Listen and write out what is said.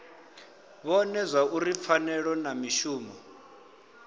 vhone zwauri pfanelo na mishumo